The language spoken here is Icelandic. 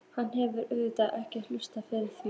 Hann hefur auðvitað ekki hugsað fyrir því?